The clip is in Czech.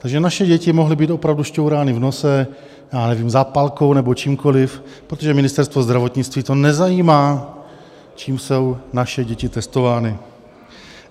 - Takže naše děti mohly být opravdu šťourány v nose, já nevím, zápalkou nebo čímkoliv, protože Ministerstvo zdravotnictví to nezajímá, čím jsou naše děti testovány.